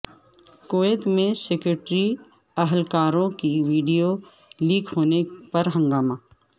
Kuwait میں security اہلکاروں کی ویڈیو لیک ہونے پر ہنگامہ